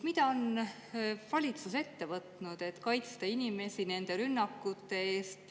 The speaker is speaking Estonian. Mida on valitsus ette võtnud, et kaitsta inimesi nende rünnakute eest?